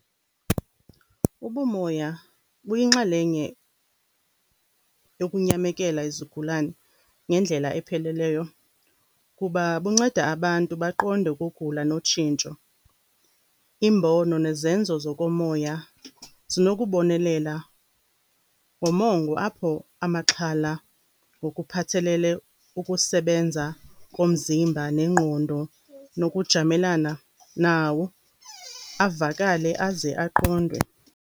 Ubumoya buyinxalenye yokunyamekela izigulana ngendlela epheleleyo kuba bunceda abantu baqonde ukugula notshintsho. Iimbono nezenzo zokomoya zinokubonelela ngomongo apho amaxhala ngokuphathelele kukusebenza komzimba nengqondo, nokujamelana nawo avakale aze aqondwe.